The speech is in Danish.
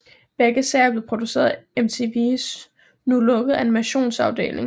Begge serier blev produceret af MTVs nu lukkede animationsafdeling